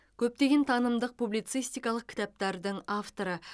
көптеген танымдық публицистикалық кітаптардың авторы